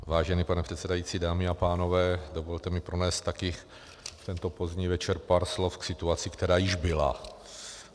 Vážený pane předsedající, dámy a pánové, dovolte mi pronést taky v tento pozdní večer pár slov k situaci, která už byla.